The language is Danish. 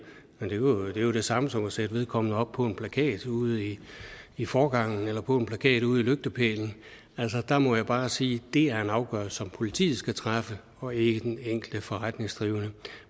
men det er jo det samme som at sætte vedkommende op på en plakat ude i i forgangen eller på en plakat ude på lygtepælen altså der må jeg bare sige at det er en afgørelse som politiet skal træffe og ikke den enkelte forretningsdrivende